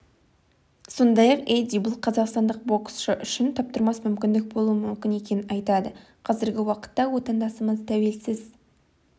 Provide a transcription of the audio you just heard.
сондай-ақ эдди бұл қазақстандық боксшы үшін таптырмас мүмкіндік болуы мүмкін екенін айтады қазіргі уақытта отандасымыз тәуелсіз